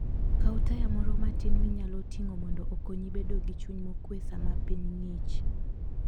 Kaw taya moro matin minyalo ting'o mondo okonyi bedo gi chuny mokuwe sama piny ng'ich.